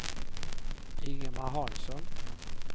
Ingemar Hansson